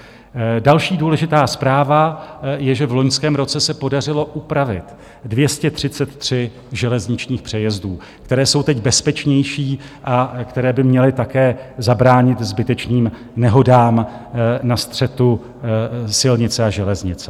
Další důležitá zpráva je, že v loňském roce se podařilo upravit 233 železničních přejezdů, které jsou teď bezpečnější a které by měly také zabránit zbytečným nehodám na střetu silnice a železnice.